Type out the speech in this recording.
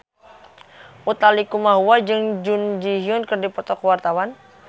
Utha Likumahua jeung Jun Ji Hyun keur dipoto ku wartawan